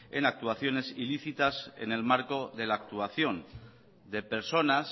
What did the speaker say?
en actuaciones ilícitas en el marco de la actuación de personas